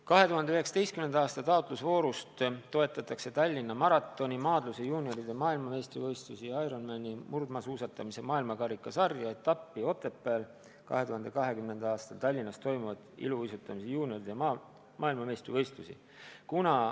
2019. aasta taotlusvoorus on toetatud Tallinna maratoni, maadluse juunioride maailmameistrivõistlusi, Ironmani, murdmaasuusatamise maailma karika sarja etappi Otepääl, 2020. aastal Tallinnas toimuvaid iluuisutamise juunioride maailmameistrivõistlusi.